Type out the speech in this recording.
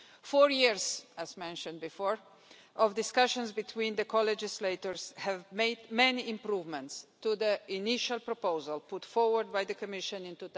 Four years, as mentioned before, of discussions between the co-legislators have made many improvements to the initial proposal put forward by the Commission in